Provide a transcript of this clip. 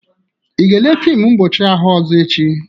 Ị ga-ele fịmụ mpọchị ahụ ọzọ echi?